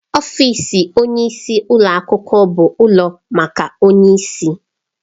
Ọfịs onyeisi ụlọ akwụkwọ bụ ụlọ maka onyeisi.